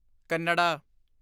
Kannada